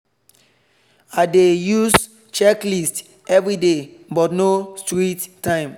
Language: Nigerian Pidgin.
i dey use checklist everyday but no strict time